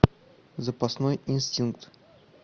запасной инстинкт